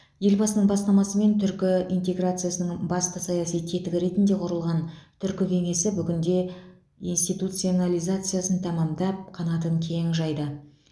елбасының бастамасымен түркі интеграциясының басты саяси тетігі ретінде құрылған түркі кеңесі бүгінде институционализациясын тәммдап қанатын кең жайды